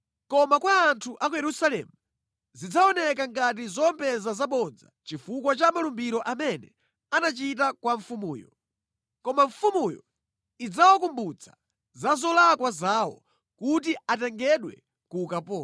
Koma kwa anthu a ku Yerusalemu zidzaoneka ngati zowombeza zabodza chifukwa cha malumbiro amene anachita kwa mfumuyo. Koma mfumuyo idzawakumbutsa za zolakwa zawo kuti atengedwe ku ukapolo.